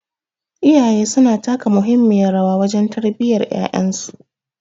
Iyaye suna taka muhimmiyar rawa wajen tarbiyyar yayansu